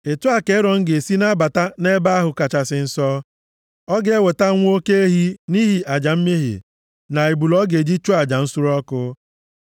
“Otu a ka Erọn ga-esi na-abata nʼEbe ahụ Kachasị Nsọ. Ọ ga-eweta nwa oke ehi nʼihi aja mmehie, na ebule ọ ga-eji chụọ aja nsure ọkụ,